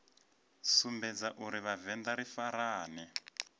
sumbedza uri vhavenḓa ri farane